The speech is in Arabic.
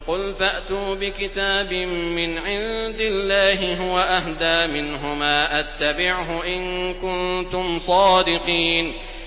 قُلْ فَأْتُوا بِكِتَابٍ مِّنْ عِندِ اللَّهِ هُوَ أَهْدَىٰ مِنْهُمَا أَتَّبِعْهُ إِن كُنتُمْ صَادِقِينَ